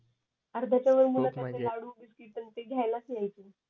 अर्ध्याच्या वर मुलं तर लाडू बिस्कीट न ते घ्यायलाच यायचे